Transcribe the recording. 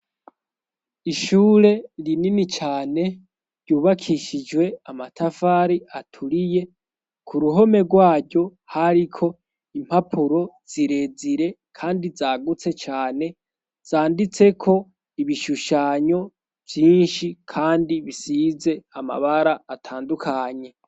Ishure rinini cane ryubakishijwe amatafari aturiye, ku ruhome rwaryo hariko impapuro zirezire kandi zagutse cane, zanditseko ibishushanyo vyinshi kandi bisize amabara atandukanye